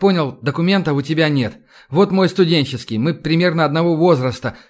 понял документов у тебя нет вот мой студенческий мы примерно одного возраста